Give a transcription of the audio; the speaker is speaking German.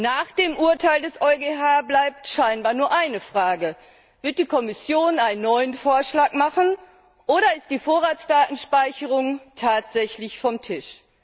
Nach dem Urteil des EuGH bleibt scheinbar nur eine Frage Wird die Kommission einen neuen Vorschlag machen, oder ist die Vorratsdatenspeicherung tatsächlich vom Tisch?